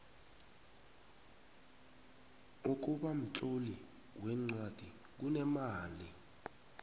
ukubamtloli weencwadi kunemali